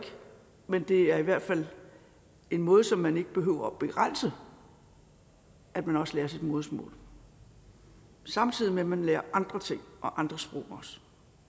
men det er i hvert fald en måde som vi ikke behøver at begrænse at man også lærer sit modersmål samtidig med at man lærer andre ting og andre sprog